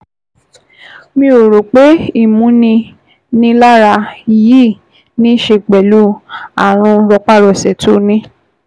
Mi ò rò pé ìmúninilára yìí ní í ṣe pẹ̀lú ààrùn rọpárọsẹ̀ tó o ní